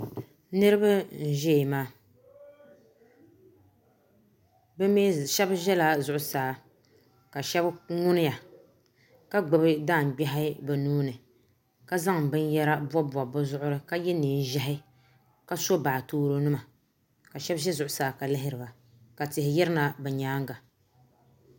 Niriba n ʒɛya maa shebi ʒɛla zuɣusaa ka shebi ŋuniya ka gbibi daangbehi bɛ nuhini ka zaŋ binyera bobibobi bɛ zuɣuri ni ka ye neenʒehi ka so baatooro nima ka shebi ʒi zuɣusaa ka lihiri ba ka tihi yirina bɛ nyaanga.